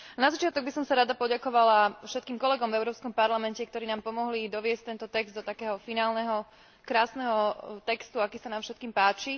Na začiatok by som sa rada poďakovala všetkým kolegom v Európskom parlamente, ktorí nám pomohli doviesť tento text do finálneho krásneho textu, aký sa nám všetkým páči.